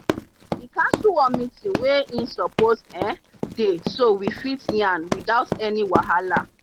e cancel one meeting wey he suppose um dey so we fit yan without any wahala.